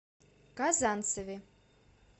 казанцеве